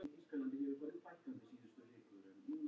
Annar en andlaus Bangsi.